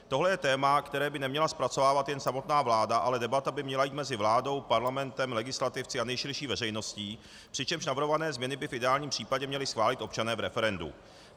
Tohle je téma, které by neměla zpracovávat jen samotná vláda, ale debata by měla jít mezi vládou, parlamentem, legislativci a nejširší veřejností, přičemž navrhované změny by v ideálním případě měli schválit občané v referendu.